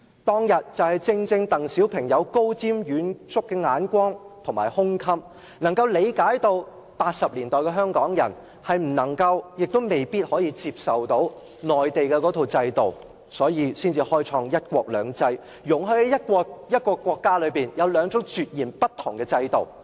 當天正正因為鄧小平具備高瞻遠矚的眼光和胸襟，理解1980年代的香港人未必可以接受到內地那套制度，才會開創"一國兩制"，容許在一個國家內有兩種截然不同的制度。